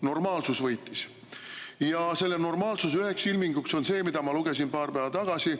Normaalsus võitis ja selle normaalsuse üheks ilminguks on see, mille kohta ma lugesin paar päeva tagasi.